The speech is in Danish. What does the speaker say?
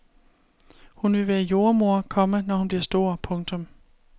Hun vil være jordemoder, komma når hun bliver stor. punktum